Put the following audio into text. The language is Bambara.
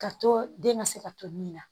Ka to den ka se ka to min na